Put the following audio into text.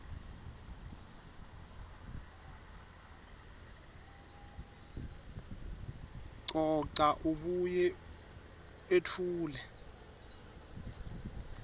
coca abuye etfule